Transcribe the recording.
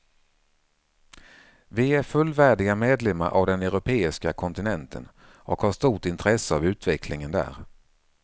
Vi är fullvärdiga medlemmar av den europeiska kontinenten och har stort intresse av utvecklingen där.